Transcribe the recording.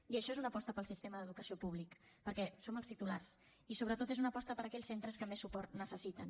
i això és una aposta pel sistema d’educació públic perquè en som els titulars i sobretot és una aposta per aquells centres que més suport necessiten